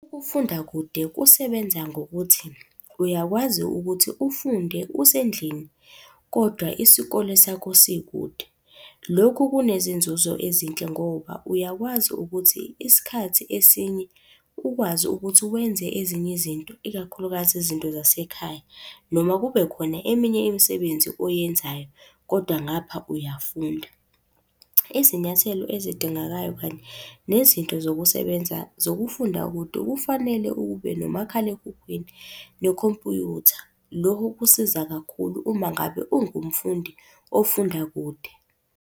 Ukufunda kude kusebenza ngokuthi, uyakwazi ukuthi ufunde usendlini, kodwa isikole sakho sikude. Lokhu kunezinzuzo ezinhle ngoba uyakwazi ukuthi isikhathi esinye ukwazi ukuthi wenze ezinye izinto, ikakhulukazi izinto zasekhaya. Noma kube khona eminye imisebenzi oyenzayo kodwa ngapha uyafunda. Izinyathelo ezidingekayo kanye nezinto zokusebenza zokufunda kude kufanele ube nomakhalekhukhwini nekhompyutha. Lokho kusiza kakhulu uma ngabe ungumfundi ofunda kude.